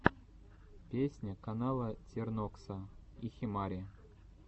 песня канала тернокса и химари